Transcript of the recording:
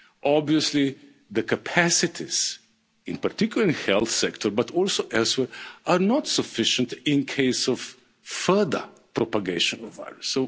Obviously the capacities, in particular in the health sector but also elsewhere, are not sufficient in case of further propagation of the virus.